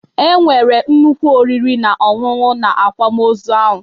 E nwere nnukwu oriri na ọṅụṅụ na akwamozu ahụ